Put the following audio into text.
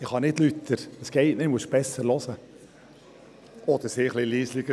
Ich kann nicht lauter sprechen, Sie müssen besser zuhören oder etwas leiser sein.